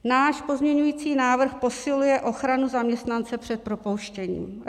Náš pozměňovací návrh posiluje ochranu zaměstnance před propouštěním.